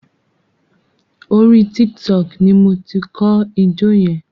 Orí Tiktok ni mo ti kọ́ ijó yẹn.